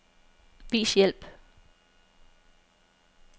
Vis hjælp.